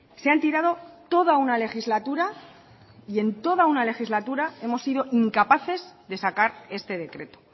se han tirado toda una legislatura y en toda una legislatura hemos sido incapaces de sacar este decreto